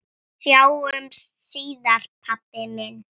Sjáumst síðar pabbi minn.